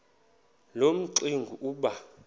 loo mingxuma iba